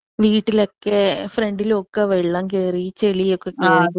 വീട്ടിലൊക്കെ ഫ്രണ്ടില് ഒക്കെ വെള്ളം കേറി ചെളിയൊക്കെ കേറി.